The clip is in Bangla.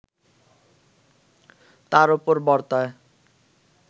তার ওপর বর্তায়